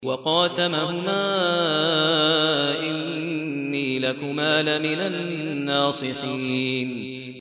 وَقَاسَمَهُمَا إِنِّي لَكُمَا لَمِنَ النَّاصِحِينَ